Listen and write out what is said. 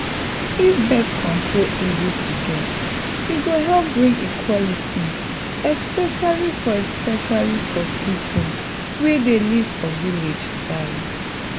if birth control easy to get e go help bring equality especially for especially for people wey dey live for village side.